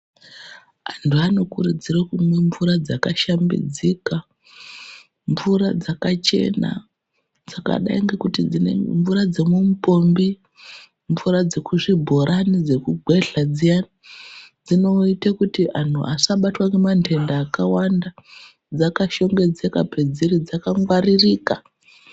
Antu vanokurudzirwa kunwe mvura dzakashambidzika ,mvura dzakachena ,mvura dzemumupompi, mvura dzekuzvibhorani dzekugwedla dziya, dzinoite kuti antu vasabatwe nemantenda akawanda dzaka shongedzeka padziri dzakangwaririka.